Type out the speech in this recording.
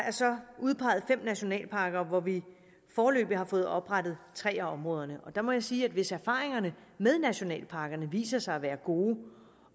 udpeget fem nationalparker og vi har foreløbig fået oprettet tre af områderne og der må jeg sige at hvis erfaringerne med nationalparkerne viser sig at være gode